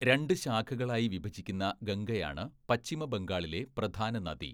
രണ്ട് ശാഖകളായി വിഭജിക്കുന്ന ഗംഗയാണ് പശ്ചിമ ബംഗാളിലെ പ്രധാന നദി.